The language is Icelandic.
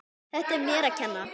Þetta er mér að kenna.